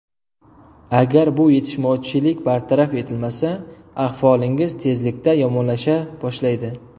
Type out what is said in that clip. Agar bu yetishmovchilik bartaraf etilmasa, ahvolingiz tezlikda yomonlasha boshlaydi.